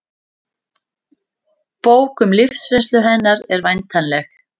Bók um lífsreynslu hennar er væntanleg